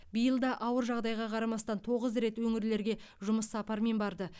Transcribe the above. биыл да ауыр жағдайға қарамастан тоғыз рет өңірлерге жұмыс сапарымен барды